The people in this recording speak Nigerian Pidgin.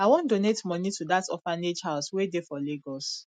i wan donate money to dat orphanage house wey dey for lagos